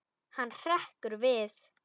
Hann hrekkur við.